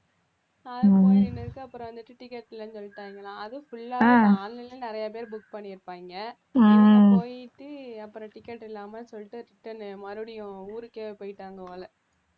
அப்புறம் வந்துட்டு ticket இல்லைன்னு சொல்லிட்டாங்களாம் அதுவும் full ஆ online ல நிறைய பேர் book பண்ணியிருப்பாங்க. இவங்க போயிட்டு அப்புறம் ticket இல்லாம சொல்லிட்டு return மறுபடியும் ஊருக்கே போயிட்டாங்க போல